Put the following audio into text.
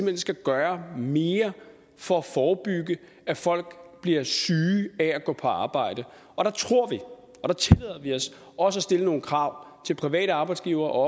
hen skal gøre mere for at forebygge at folk bliver syge af at gå på arbejde og der tillader vi os også at stille nogle krav til private arbejdsgivere og